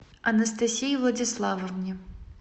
анастасии владиславовне